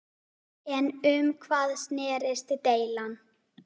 En um hvað snerist deilan?